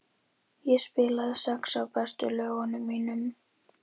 Ég spilaði sex af bestu lögunum mínum.